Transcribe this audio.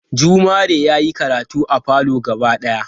Jumare yayi karatu a falo gaba daya